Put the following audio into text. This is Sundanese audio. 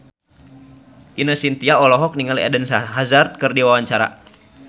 Ine Shintya olohok ningali Eden Hazard keur diwawancara